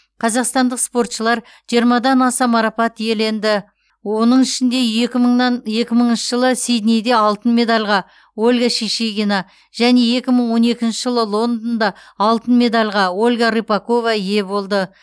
қазақстандық спортшылар жиырмадан аса марапат иеленді оның ішінде екі мыңнан екі мыңыншы жылы сиднейде алтын медальға ольга шишигина және екі мың он екінші жылы лондонда алтын медальға ольга рыпакова ие болды